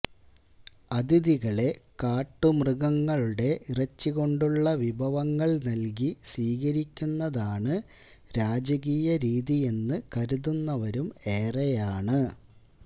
അതിഥികളെ കാട്ടുമൃഗങ്ങളുടെ ഇറച്ചികൊണ്ടുള്ള വിഭവങ്ങള് നല്കി സ്വീകരിക്കുന്നതാണ് രാജകീയ രീതിയെന്ന് കരുതുന്നവരും ഏറെയാണ്